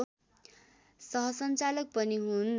सहसञ्चालक पनि हुन्